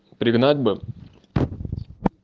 пригнать бы